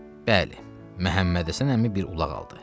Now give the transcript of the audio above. Bəli, Məhəmmədhəsən əmi bir ulaq aldı.